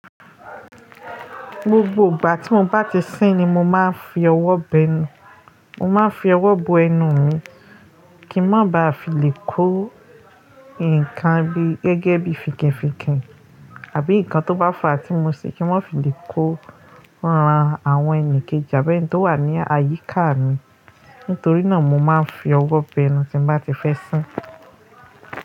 Gbogbo ìgbà tí mo bá ti sín ni mo máa ń fi ọwọ́ b'ẹnu, mo máa ń fi ọwọ́ bo ẹnu mi kí n má ba à fi lè kó ǹkan bí gẹ́gẹ́ bí fìkìn-fìkìn àbí ǹkan tó bá fàá tí mo ṣe kí n ma fi lè kó rán àwọn ẹni kejì àbẹ́ni tó wà ní àyíká mi. Nítorí náà mo máa ń fi ọwọ́ bẹ ẹnu tí mo bá ti fẹ́ sín.